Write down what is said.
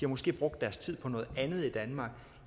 måske brugt deres tid på noget andet i danmark